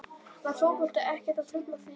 Var fótboltinn ekkert að trufla þig þá í fríinu?